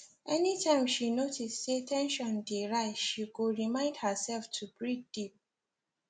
anytime she notice say ten sion dey rise she go remind herself to breathe deep